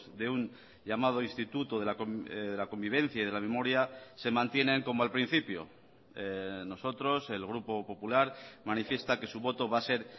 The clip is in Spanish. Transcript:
de un llamado instituto de la convivencia y de la memoria se mantienen como al principio nosotros el grupo popular manifiesta que su voto va a ser